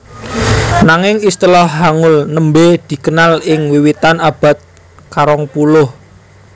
Nanging istilah Hangul nembé dikenal ing wiwitan abad karongpuluh